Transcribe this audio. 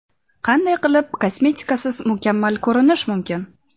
Qanday qilib kosmetikasiz mukammal ko‘rinish mumkin?.